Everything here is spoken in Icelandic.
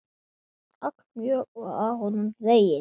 Allmjög var af honum dregið.